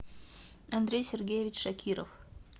андрей сергеевич шакиров